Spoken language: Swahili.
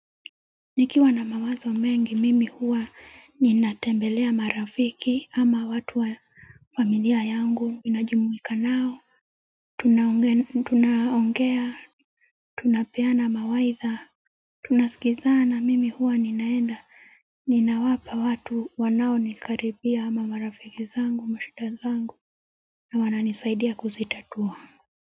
Nikiwa na mawazo mengi mimi huwa ninatembelea marafiki ama watu wa familia yangu ninajumuika nao Tunaongea. Tunapeana mawaitha. Tunasikizana mimi huwa ninaenda ninawapa watu wanao nikaribia ama marafiki zangu mashida zangu na wana nisaidia kuzitatua.